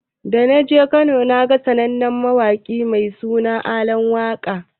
Da naje Kano naga sanannen mawaƙinnan mai suna Alan waka.